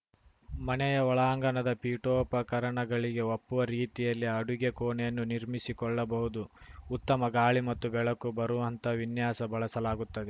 ಮನೆಯ ಒಳಾಂಗಣದ ಪೀಠೋಪಕರಣಗಳಿಗೆ ಒಪ್ಪುವ ರೀತಿಯಲ್ಲಿ ಅಡುಗೆ ಕೋಣೆಯನ್ನು ನಿರ್ಮಿಸಿಕೊಳ್ಳಬಹುದು ಉತ್ತಮ ಗಾಳಿ ಮತ್ತು ಬೆಳಕು ಬರುವಂತಹ ವಿನ್ಯಾಸ ಬಳಸಲಾಗುತ್ತದೆ